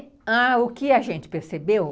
Ãh, e o que a gente percebeu,